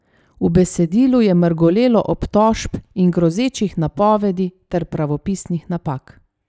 V besedilu je mrgolelo obtožb in grozečih napovedi ter pravopisnih napak.